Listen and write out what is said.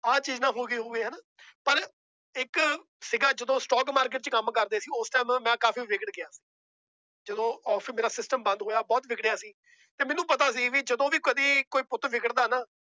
ਆਹ ਚੀਜ਼ ਨਾ ਹੋ ਗਈ ਹੋਵੇ ਹਨਾ ਪਰ ਇੱਕ ਸੀਗਾ ਜਦੋਂ stock market ਚ ਕੰਮ ਕਰਦੇ ਸੀ ਉਸ time ਮੈਂ ਕਾਫ਼ੀ ਵਿਗੜ ਗਿਆ ਜਦੋਂ office ਮੇਰਾ system ਬੰਦ ਹੋਇਆ ਬਹੁਤ ਵਿਗੜਿਆ ਸੀ ਤੇ ਮੈਨੂੰ ਪਤਾ ਸੀ ਵੀ ਜਦੋਂ ਵੀ ਕਦੇ ਕੋਈ ਪੁੱਤ ਵਿਗੜਦਾ ਨਾ